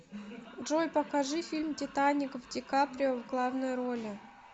джой покажи фильм титаник в ди каприо в главной роли